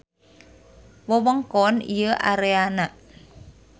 Wewengkon ieu areana.